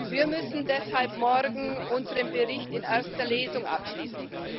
Wir müssen deshalb morgen unseren Bericht in erster Lesung abschließen.